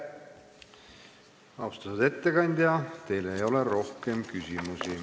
Austatud ettekandja, teile ei ole rohkem küsimusi.